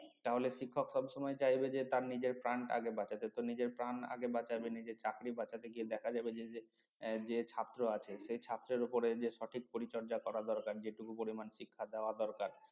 তাহলে শিক্ষক সবসময় চাইবে যে তার নিজের প্রাণ আগে বাঁচাতে তো নিজের প্রাণ আগে বাঁচাবে নিজের চাকরি বাঁচাতে গিয়ে দেখা যাবে যে~ যে ছাত্র আছে সেই ছাত্রের উপরে যে সঠিক পরিচর্যা করা দরকার যেটুকু পরিমাণ শিক্ষা দেওয়া দরকার